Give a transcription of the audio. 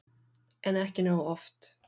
En ekki nógu oft.